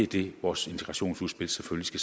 det vores integrationsudspil selvfølgelig